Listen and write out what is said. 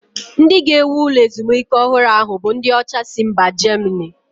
Ndị ga-ewu ụlọ ezumike ọhụrụ ahụ bụ ndị ọcha si mba Germany